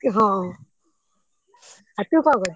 ହଁ ଆଉ ତୁ କଣ କରୁଛୁ?